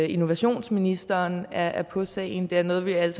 innovationsministeren er er på sagen det er noget vi alle